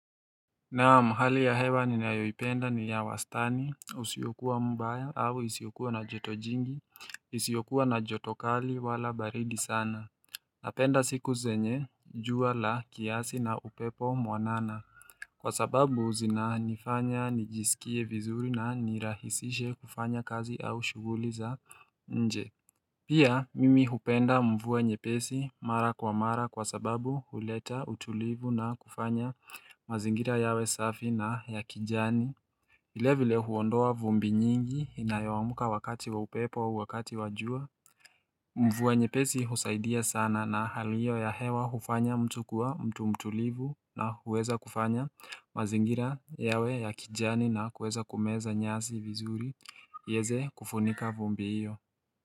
Naamu hali ya hewa ni nayoipenda ni ya wastani usiokua mbaya au isiokua na jotojingi isiokua na jotokali wala baridi sana Napenda siku zenye jua la kiasi na upepo mwanana Kwa sababu zinanifanya nijisikie vizuri na nirahisishe kufanya kazi au shuguli za nje Pia mimi hupenda mvua nyepesi mara kwa mara kwa sababu huleta utulivu na kufanya mazingira yawe safi na ya kijani vile vile huondoa vumbi nyingi inayoamka wakati wa upepo au wakati wa jua mvua nyepesi husaidia sana na hali hio ya hewa hufanya mtu kuwa mtu mtulivu na huweza kufanya mazingira yawe ya kijani na huweza kumeza nyasi vizuri yeze kufunika vumbi iyo.